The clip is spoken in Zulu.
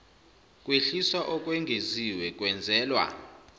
kwehliswa okwengeziwe kwenzelwa